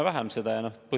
Aitäh, hea juhataja!